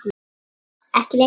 Ekki lengur.